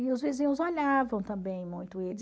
E os vizinhos olhavam também muito eles.